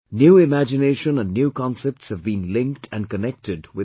New imagination and new concepts have been linked and connected with it